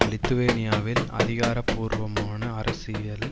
லித்துவேனியாவில் அதிகாரபூர்வமான அரசியலில்